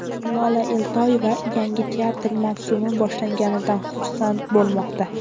Lola Eltoyeva yangi teatr mavsumi boshlanganidan xursand bo‘lmoqda.